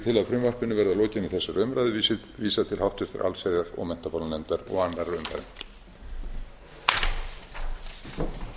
að frumvarpinu verði að lokinni þessari umræðu vísað til háttvirtrar allsherjar og menntamálanefndar og annarrar umræðu